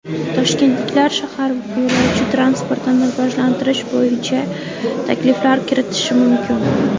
Toshkentliklar shahar yo‘lovchi transportini rivojlantirish bo‘yicha takliflar kiritishi mumkin.